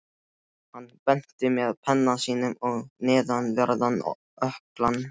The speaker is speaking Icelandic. Hann benti með penna sínum á neðanverðan ökklann.